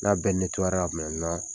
N'a bɛɛ ra